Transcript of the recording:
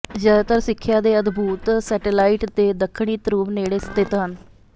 ਜ਼ਿਆਦਾਤਰ ਸਿੱਖਿਆ ਦੇ ਅਦਭੁਤ ਸੈਟੇਲਾਈਟ ਦੇ ਦੱਖਣੀ ਧਰੁਵ ਨੇੜੇ ਸਥਿਤ ਹਨ